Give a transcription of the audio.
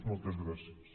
moltes gràcies